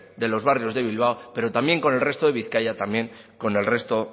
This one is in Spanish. de los barrios de bilbao pero también con el resto de bizkaia también con el resto